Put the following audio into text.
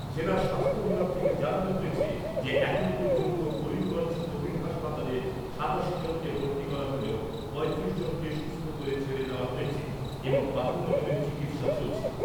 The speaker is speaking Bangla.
জেলার স্বাস্থ্য বিভাগ থেকে জানানো হয়েছে যে এখনও পর্যন্ত করিমগঞ্জ কোভিড হাসপাতালে সাতাশি জনকে ভর্তি করা হলেও পঁয়ত্রিশ জনকে সুস্থ করে ছেড়ে দেওয়া হয়েছে এবং বাহান্ন জনের চিকিৎসা চলছে।